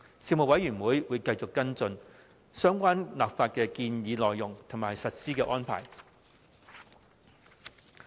事務委員會會繼續跟進相關立法建議的內容及法例實施的安排。